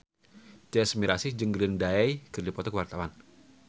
Tyas Mirasih jeung Green Day keur dipoto ku wartawan